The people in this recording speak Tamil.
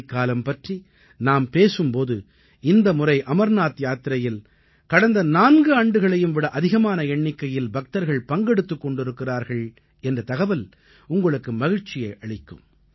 மாரிக்காலம் பற்றி நாம் பேசும் போது இந்த முறை அமர்நாத் யாத்திரையில் கடந்த 4 ஆண்டுகளையும் விட அதிகமான எண்ணிக்கையில் பக்தர்கள் பங்கெடுத்துக் கொண்டிருக்கிறார்கள் என்ற தகவல் உங்களுக்கு மகிழ்ச்சியை அளிக்கும்